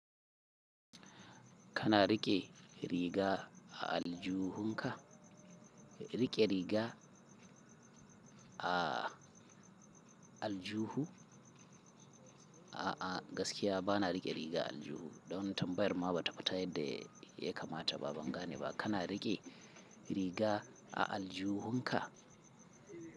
Kana riƙe riga a aljuhu ka? Riƙe riga a aljuhu? A'a, gaskiya ba na riƙe riga a aljuhu. Dan tambayar ma ba ta fita yadda ya kamataba, banga ne ba. Kana riƙe riga a aljuhu ka?